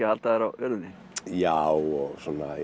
að halda þér á jörðinni já og